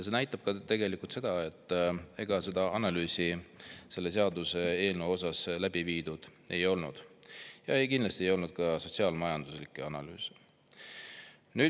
See näitab tegelikult seda, et ega analüüsi selle seaduseelnõu kohta ei olnud läbi viidud ja kindlasti ei olnud ka sotsiaal-majanduslikke analüüse.